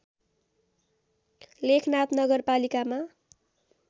लेखनाथ नगरपालिकामा